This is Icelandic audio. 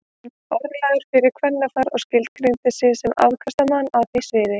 Hann var orðlagður fyrir kvennafar og skilgreindi sig sem afkastamann á því sviði.